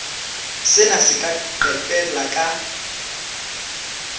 sena se ka qetella ka